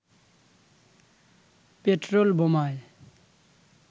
petrol বোমায়